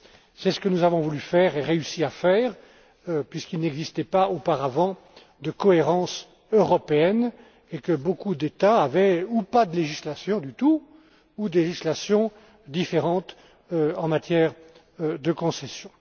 C'est ce que nous avons voulu faire et réussi à faire puisqu'il n'existait pas auparavant de cohérence européenne et que beaucoup d'États avaient soit pas de législation du tout soit des législations différentes en matière de concessions.